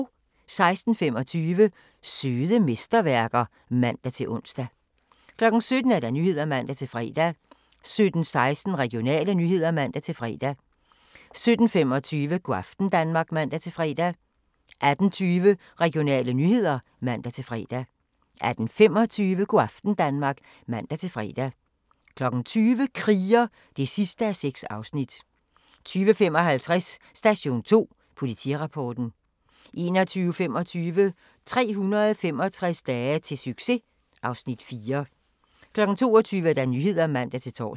16:25: Søde mesterværker (man-ons) 17:00: Nyhederne (man-fre) 17:16: Regionale nyheder (man-fre) 17:25: Go' aften Danmark (man-fre) 18:20: Regionale nyheder (man-fre) 18:25: Go' aften Danmark (man-fre) 20:00: Kriger (6:6) 20:55: Station 2: Politirapporten 21:25: 365 dage til succes (Afs. 4) 22:00: Nyhederne (man-tor)